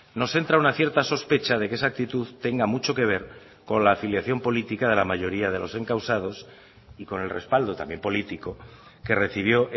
nos entra una cierta sospecha de que esa actitud tenga mucho que ver con la afiliación política de la mayoría de los encausados y con el respaldo también político que recibió